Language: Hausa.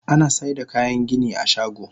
Anasaida kayan gini a shago.